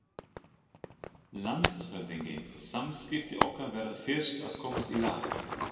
LANDSHÖFÐINGI: Samskipti okkar verða fyrst að komast í lag.